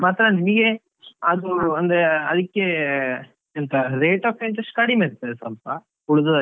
ಮಾತ್ರ ನಿಮಗೆ ಅದು ಅಂದ್ರೆ ಅದಕ್ಕೆ ಎಂತ rate of interest ಕಡಿಮೆ ಇರ್ತದೆ ಸ್ವಲ್ಪ ಉಳಿದದ್ದಕ್ಕಿಂತ.